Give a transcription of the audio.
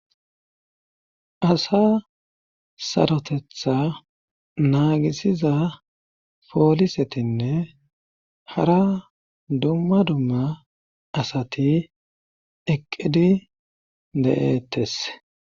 Asa sarotetha naagisiza poolisetinne hara dumma dumma asati eqqidi de7eettes